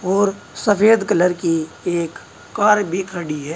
और सफेद कलर की एक कार भी खड़ी है।